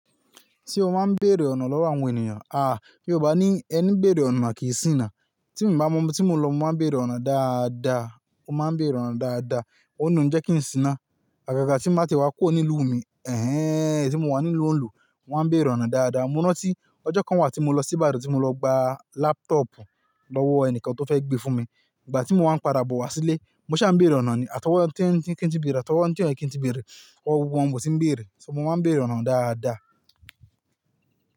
Ṣé o máa ń béèrè ọ̀nà lọ́wọ́ àwọn ènìyàn, àá, Yorùbá ní "ẹní béèrè ọ̀nà kì í ṣíná". Tí mo bá mọ, tí mo lọ máa ń béèrè ọ̀nà dáadáa, mó máa ń béèrè ọ̀nà dáadáa, òun ni ó ń jẹ́ kí n ṣíná. Àgàgà tí báa tiẹ̀ wá kúrò nílùú mi, ẹ̀hen, tí mo wà nílùú onílù, mo maá n béèrè ọ̀nà dáadáa. Mo rántí ọjọ́ kan wà tí mo lọ sí Ìbàdàn tí mo lọ gba laptop lọ́wọ́ ẹnìkan tó fẹ́ gbé fún mi. Ìgbà tí mo wá ń padà bọ̀ wá sílé, mo ṣà ń béèrè ọ̀nà ni. Àtọwọ́ ẹni tí ń kí n tí bèèrè, àtọwọ́ ẹni tí ò yẹ kí n tí bèèrè, ọwọ gbogbo wọ́n mò tí ń béèrè. Ṣé mo máa ń béèrè ọ̀nà dáadáa?